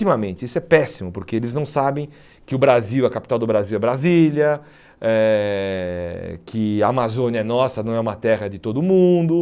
Isso é péssimo, porque eles não sabem que o Brasil a capital do Brasil é Brasília, eh que a Amazônia é nossa, não é uma terra de todo mundo.